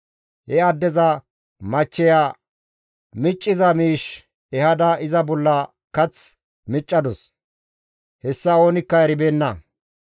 He addeza machcheya micciza miish ehada iza bolla kath miccadus; hessa oonikka eribeenna.